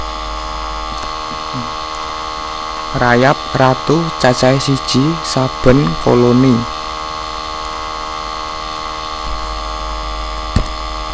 Rayap ratu cacahé siji saben koloni